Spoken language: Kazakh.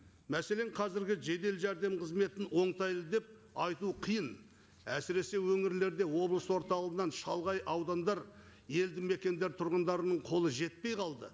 мәселен қазіргі жедел жәрдем қызметін оңтайлы деп айту қиын әсіресе өңірлерде облыс орталығынан шалғай аудандар елді мекендер тұрғындарының қолы жетпей қалды